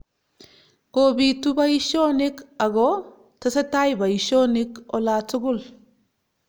Kobitu boishonik ako tesetai boishonik olatukul